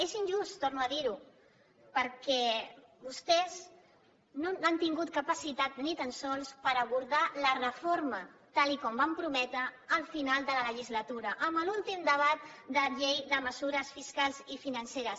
és injust torno a dirho perquè vostès no han tingut capacitat ni tan sols per abordar la reforma tal com van prometre al final de la legislatura en l’últim debat de la llei de mesures fiscals i financeres